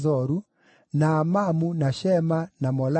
na Amamu, na Shema, na Molada,